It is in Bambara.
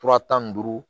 Fura tan ni duuru